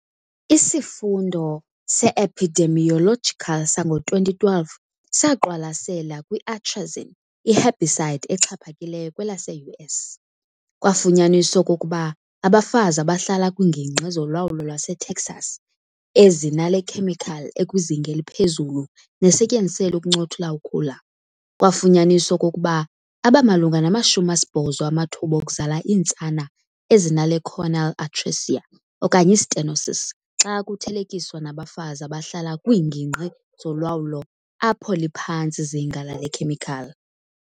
Isifundo se-epidemiological sango-2012 saqwalasela kwi-atrazine, i-herbicide exhaphakileyo kwelase-U.S., kwafunyaniswa okokuba abafazi abahlala kwiingingqi zolwawulo lwase Texas ezinale khemikhali ekwizinga eliphezulu nesetyenziselwa ukuncothula ukhula, kwaafunyaniswa okokuba aba malunga nama- 80 amathuba okuzala iintsana ezinale choanal atresia okanye i-stenosis xa kuthelekiswa nabafazi abahlala kwiingingqi zolwawulo apho liphantsi izinga lale khemikhali.